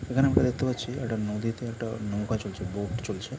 এই খানে আমরা দেখতে পারছি একটা নদীতে একটা নৌকা চলছে বোট চলছে ।